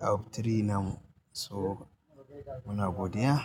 out of three nan. So muna godiya.